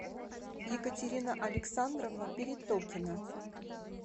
екатерина александровна перетокина